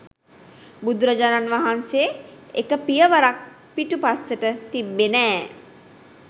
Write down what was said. බුදුරජාණන් වහන්සේ එක පියවරක් පිටිපස්සට තිබ්බේ නෑ.